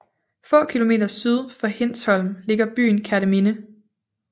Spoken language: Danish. Få kilometer syd for Hindsholm ligger byen Kerteminde